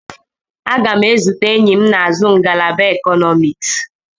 Aga m ezute enyi m na-azụ ngalaba Ekọnọmiks.